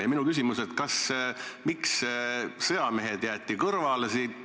Ja minu küsimus on: miks sõjamehed jäeti kõrvale?